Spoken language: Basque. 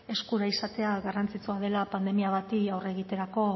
eskura izatea garrantzitsua dela pandemia bati aurre egiterako